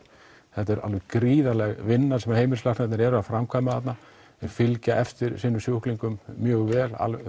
þetta er alveg gríðarleg vinna sem heimilislæknarnir eru að framkvæma þarna þeir fylgja eftir sínum sjúklingum mjög vel